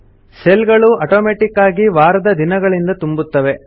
cell ಗಳು automatic ಆಗಿ ವಾರದ ದಿನಗಳಗಳಿಂದ ತುಂಬುತ್ತವೆ